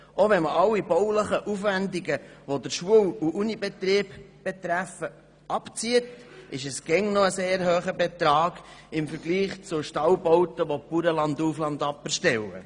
Auch wenn man alle baulichen Aufwendungen abzieht, die den Schul- und Unibetrieb betreffen, handelt es sich immer noch um einen sehr hohen Betrag im Vergleich zu Stallbauten, die Bauern landauf, landab erstellen.